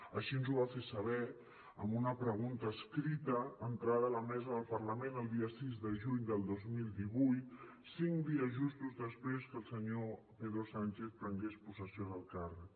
així ens ho va fer saber amb una pregunta escrita entrada a la mesa del parlament el dia sis de juny del dos mil divuit cinc dies justos després que el senyor pedro sánchez prengués possessió del càrrec